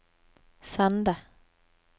Sande